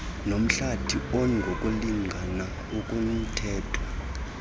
nomhlathi ongokulingana okumthetho